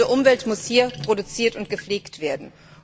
Gesunde Umwelt muss hier produziert und gepflegt werden.